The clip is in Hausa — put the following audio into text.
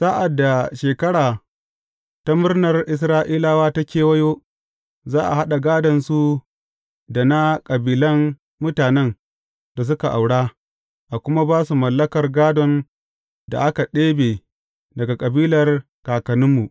Sa’ad da Shekara ta Murnar Isra’ilawa ta kewayo, za a haɗa gādonsu da na kabilan mutanen da suka aura, a kuma ba su mallakar gādon da aka ɗebe daga kabilar kakanninmu.